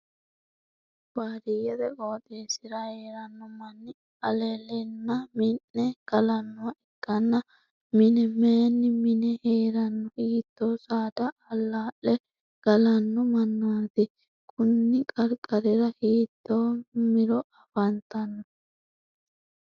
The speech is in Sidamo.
Baadiyete qooxeesira heeranno manni alalenna mi'ne galanoha ikanna mine mayinni mine heerano? Hiitoo saadaa alaa'le galano mannati? Kunni qarqarirra hiitto Miro afantano?